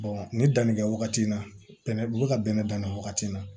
ni danni kɛ wagati na bɛnɛ ka bɛnɛ dan na wagati na